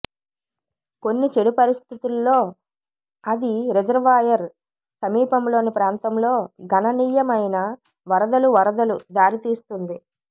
కొన్ని చెడు పరిస్థితుల్లో అది రిజర్వాయర్ సమీపంలో ప్రాంతంలో గణనీయమైన వరదలు వరదలు దారితీస్తుంది